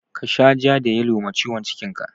Ka sha ja da yalo ma ciwon cikin ka!